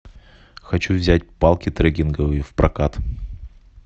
хочу взять палки трекинговые в прокат